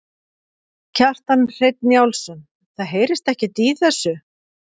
Kjartan Hreinn Njálsson: Það heyrist ekkert í þessu?